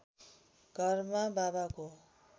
घरमा बाबाको